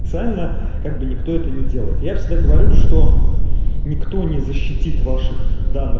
цально как бы никто это не делает я всегда говорю что никто не защитит ваших данных